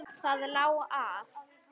Það lá að.